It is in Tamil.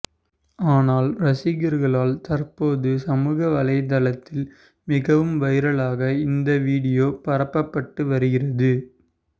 ஆனால் ரசிகர்களால் தற்போது சமூக வலைத்தளத்தில் மிகவும் வைரலாக இந்த வீடியோ பரப்பப்பட்டு வருகிறது